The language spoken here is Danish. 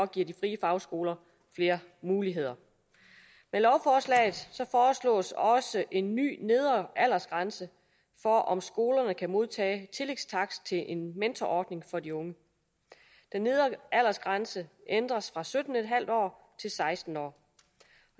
giver de frie fagskoler flere muligheder med lovforslaget foreslås også en ny nedre aldersgrænse for om skolerne kan modtage tillægstakst til en mentorordning for de unge den nedre aldersgrænse ændres fra sytten en halv år til seksten år